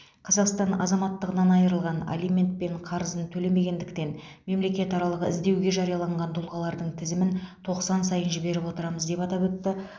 қазақстан азаматтығынан айырылған алимент пен қарызын төлемегендіктен мемлекетаралық іздеуге жарияланған тұлғалардың тізімін тоқсан сайын жіберіп отырамыз деп атап өтті